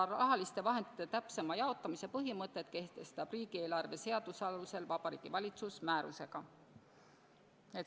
Rahaliste vahendite täpsema jaotamise põhimõtted kehtestab riigieelarve seaduse alusel Vabariigi Valitsus määrusega.